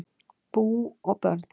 Bú og börn